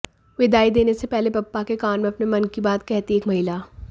विदाई देने से पहले बप्पा के कान में अपने मन की बात कहती एक महिला